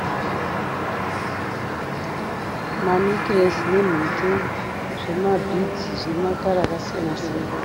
Manekiresi nemhete zvemabhidzi zvine makara akasiyana siyana.